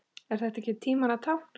Er þetta ekki tímanna tákn?